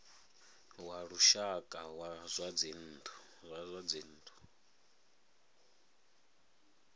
wa lushaka wa zwa dzinnu